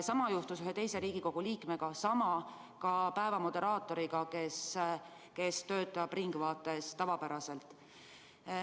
Sama juhtus ühe teise Riigikogu liikmega ja ka päeva moderaatoriga, kes töötab "Ringvaates".